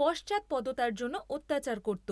পশ্চাদপদতার জন্য অত্যাচার করত।